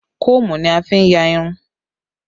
Kóòmù ni a fi n ya irun